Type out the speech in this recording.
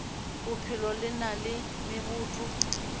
bophelo le na le meboto